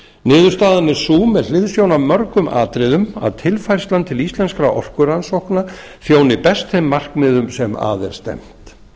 niðurstaðan er sú með hliðsjón af mörgum atriðum að tilfærsla til íslenskra orkurannsókna þjóni best þeim markmiðum sem að er stefnt